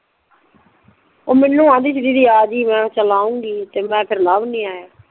ਓ ਮੈਂਨੂੰ ਆਨਦੀ ਸੀ ਦੀਦੀ ਆਜੀ ਮੈਂ ਕਿਹਾ ਚੱਲ ਆਉਨਗੀ ਤੇ ਫੇਰ ਲਵ ਨਹੀਂ ਆਯਾ